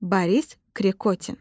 Boris Krikotin.